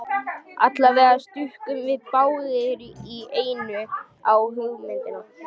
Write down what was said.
Allavega stukkum við báðir í einu á hugmyndina.